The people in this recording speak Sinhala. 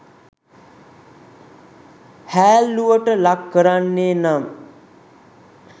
හෑල්ලුවට ලක් කරන්නේ නම්